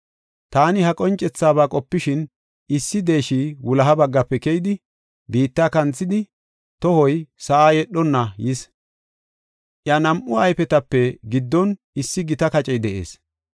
Taani ha qoncethabaa qopishin, issi deeshi wuloha baggafe keyidi, biitta kanthidi, tohoy sa7a yedhonna yis. Iya nam7u ayfetape giddon issi gita kacey de7ees.